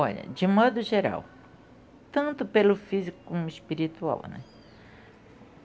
Olha, de modo geral, tanto pelo físico como espiritual, né?